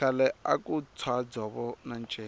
khale aku tshwa dzovo na nceka